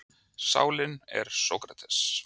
Sálin er Sókrates!